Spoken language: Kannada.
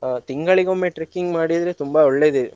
ಅಹ್ ತಿಂಗಳಿಗೊಮ್ಮೆ trekking ಮಾಡಿದ್ರೆ ತುಂಬಾ ಒಳ್ಳೇದೇ.